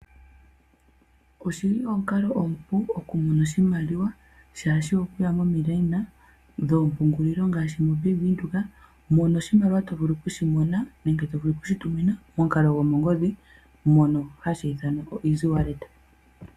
Oshili omukalo omupu okumona oshimaliwa shaashi okuya momiikweyo dhoompungulilo ngaashi oBank Windhoek moka oshimaliwa tovulu okushi mona nenge tovulu okushituminwa pamukalo gwomongodhi ngono hatu iithana oeasywallet.